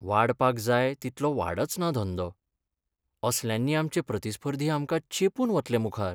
वाडपाक जाय तितलो वाडचना धंदो. असल्यांनी आमचे प्रतिस्पर्धी आमकां चेंपून वतले मुखार.